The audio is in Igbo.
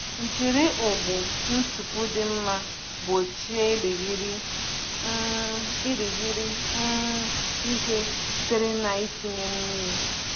Jiri ụgbụ ntupu dị mma gbochie irighiri um irighiri um ihe sitere na ntinye mmiri.